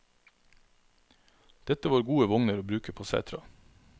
Dette var gode vogner å bruke på setra.